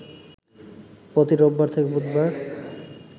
প্রতি রোববার থেকে বুধবার